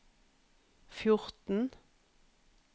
fjorten